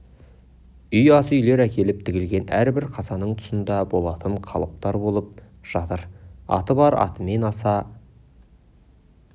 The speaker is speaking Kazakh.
үй ас үйлер әкеліп тігілген әрбір қазаның тұсында болатын қалыптар болып жатыр аты бар атымен асы